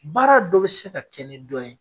Baara dɔ bɛ se ka kɛ ni dɔ ye